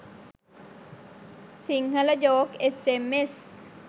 sinhala joke sms